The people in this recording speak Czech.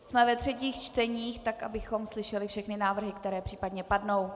Jsme ve třetích čteních, tak abychom slyšeli všechny návrhy, které případně padnou.